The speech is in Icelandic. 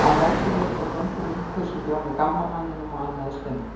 Á móti mér tók ungur munkur sem bjó með gamla manninum og annaðist um hann.